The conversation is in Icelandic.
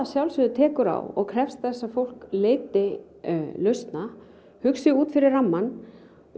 sjálfsögðu tekur á og krefst þess að fólk leiti lausna hugsi út fyrir rammann